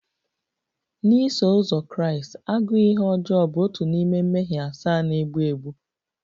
Na Iso uzọ Kraịst, agụụ ihe ọjọọ bụ otu n'ime mmehie asaa na-egbu egbu